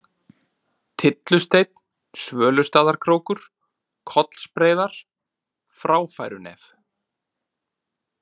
Tyllusteinn, Svölustaðakrókur, Kollsbreiðar, Fráfærunef